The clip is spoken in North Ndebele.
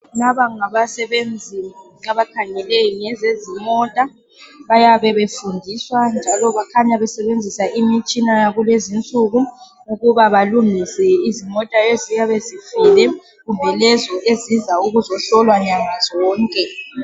Laba ngabasenzi abakhangele ngezezimota. Bayabe befundiswa njalo bakhanya besebenzisa imitshina yakulezi insuku ukuba balungise izimota eziyabe zifile kumbe lezi eziza ukuzohlolwa nyanga zonke.